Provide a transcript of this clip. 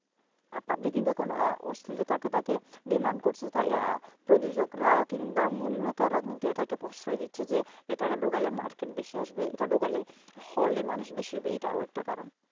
public কিন্তু এখন অশ্লীলতাকে দেখে demand করতে চায় প্রযোজকরাও কিংবা movie maker ও এটাকে প্রশ্রয় দিচ্ছে যে এটাকে ঢুকালে market বেশি আসবে, এটা ঢুকালে হলে মানুষ বেশি হবে এটাও একটা কারণ